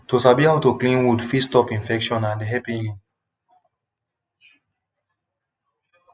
to sabi how to clean wound fit stop infection and help healing